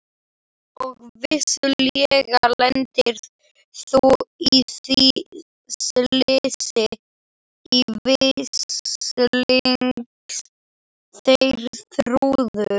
Og vissulega lentir þú í því slysi, veslings Geirþrúður.